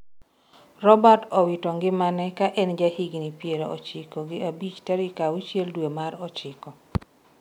Robert owito ngimane ka en jahigni piero ochiko gi abich tarik auchiel dwe mar ochiko